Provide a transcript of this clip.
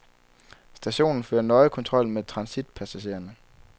Stationen fører nøje kontrol med transitpassagererne.